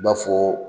I b'a fɔ